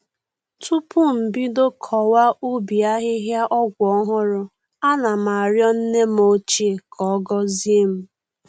Tupu m bido kọwa ubi ahịhịa ọgwụ ọhụrụ, ana m arịọ nne m ochie ka ọ gọzie m